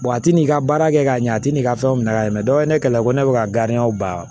a ti n'i ka baara kɛ ka ɲɛ a ti n'i ka fɛnw minɛ ka yɛlɛ ne kɛlɛ ko ne bɛ ka ban